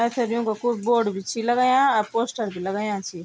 पैथर युकां कु बोर्ड बि छि लगायां अर पोस्टर बि लगायां छि।